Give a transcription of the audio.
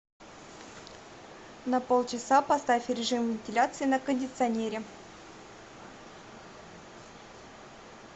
на полчаса поставь режим вентиляции на кондиционере